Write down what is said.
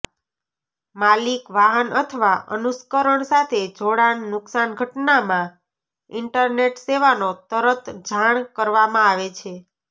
માલિક વાહન અથવા અનુકર્ષણ સાથે જોડાણ નુકશાન ઘટનામાં ઈન્ટરનેટ સેવાનો તરત જાણ કરવામાં આવે છે